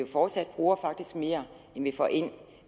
fortsat bruger mere end vi får ind